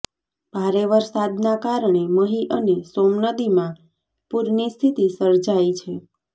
ભારે વરસાદના કારણે મહી અને સોમ નદીમાં પૂરની સ્થિતિ સર્જાઈ છે